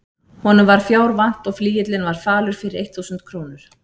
Honum var fjár vant og flygillinn var falur fyrir eitt þúsund krónur.